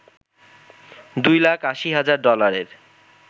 দুই লাখ ৮০ হাজার ডলারে